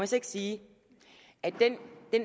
så ikke sige at den